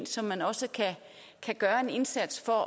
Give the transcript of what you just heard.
som man også kan gøre en indsats for